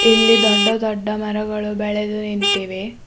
ಇಲ್ಲಿ ದೊಡ್ಡ ದೊಡ್ಡ ಮರಗಳು ಬೆಳೆದು ನಿಂತಿವೆ.